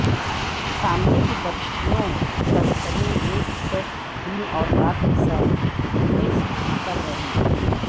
سامنے کی بتیوں بہترین ایک سیٹ دن اور رات کے ساتھ نصب کر رہے ہیں